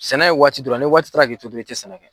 Sɛnɛ ye waati dɔrɔn ni waati taara k'i to dɔrɔn i tɛ sɛnɛ kɛ.